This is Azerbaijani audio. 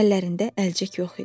Əllərində əlcək yox idi.